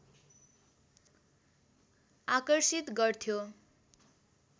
आकर्षित गर्थ्यो